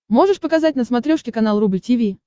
можешь показать на смотрешке канал рубль ти ви